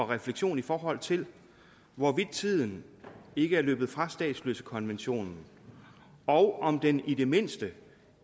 refleksion i forhold til hvorvidt tiden ikke er løbet fra statsløsekonventionen og om den i det mindste